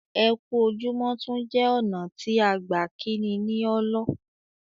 Ẹ ku ojúmọ tún jẹ́ ọna tí à gbà kínní ní ọ́lọ́